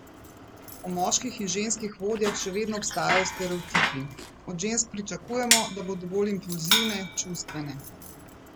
O moških in ženskih vodjah še vedno obstajajo stereotipi: 'Od žensk pričakujemo, da bodo bolj impulzivne, čustvene.